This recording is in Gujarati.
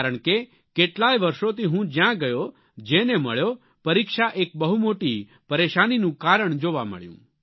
કારણ કે કેટલાય વર્ષોથી હું જ્યાં ગયો જેને મળ્યો પરીક્ષા એક બહુ મોટી પરેશાનીનું કારણ જોવા મળ્યું